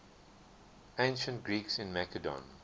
ancient greeks in macedon